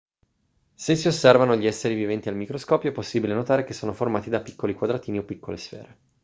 se si osservano gli esseri viventi al microscopio è possibile notare che sono formati da piccoli quadratini o piccole sfere